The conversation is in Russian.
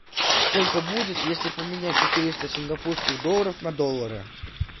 сколько будет если поменять четыреста сингапурских долларов на доллары